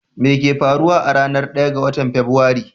Me ke faruwa a ranar 1 ga Fabrairu?